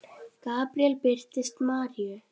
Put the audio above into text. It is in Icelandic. Gabríel birtist Maríu